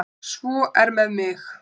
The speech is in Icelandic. Svo er með mig.